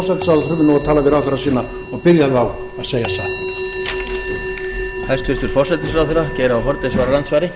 það og ég held að hæstvirtur forsætisráðherra ætti nú að tala við ráðherra sína og biðja þá að segja satt